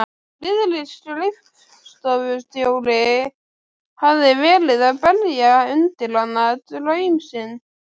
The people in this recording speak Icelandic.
Friðrik skrifstofustjóri hafði verið að bera undir hana draum sinn.